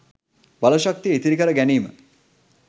බලශක්තිය ඉතිරි කර ගැනීම